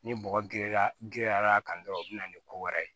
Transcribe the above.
Ni bɔgɔ girinya girinyara kan dɔrɔn o bɛ na ni ko wɛrɛ ye